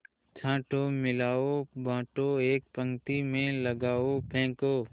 छाँटो मिलाओ बाँटो एक पंक्ति में लगाओ फेंको